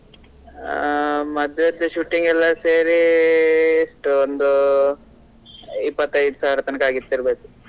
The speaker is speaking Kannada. ಆ ಮದ್ವೆದು shooting ಎಲ್ಲಾ ಸೇರಿ ಎಷ್ಟು ಒಂದು ಇಪ್ಪತ್ತೈದು ಸಾವಿರ ತನಕ ಆಗಿತ್ತು ಇರ್ಬೇಕು.